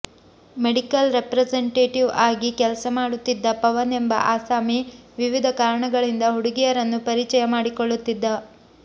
medical representative ಆಗಿ ಕೆಲಸ ಮಾಡುತ್ತಿದ್ದ ಪವನ್ ಎಂಬ ಅಸಾಮಿ ವಿವಿಧ ಕಾರಣಗಳಿಂದ ಹುಡುಗಿಯರನ್ನು ಪರಿಚಯ ಮಾಡಿಕೊಳ್ಳುತ್ತಿದ್ದ